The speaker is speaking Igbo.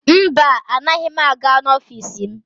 Mba, anaghị m aga n'ọfiisi m.